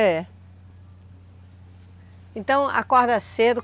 É. Então acorda cedo.